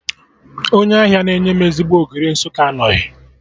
Onye ahịa na-enye m ezigbo Ogiri Nsụka anọghị